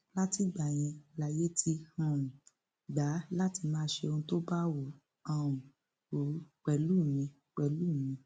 látìgbà yẹn lààyè ti um gbà á láti máa ṣe ohun tó bá wù um ú pẹlú mi pẹlú mi